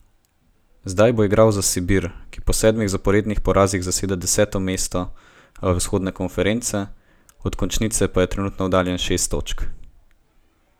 Zdaj bo igral za Sibir, ki po sedmih zaporednih porazih zaseda deseto mesto vzhodne konference, od končnice pa je trenutno oddaljen šest točk.